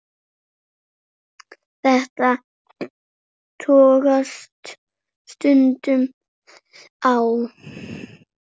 Þetta togast stundum á.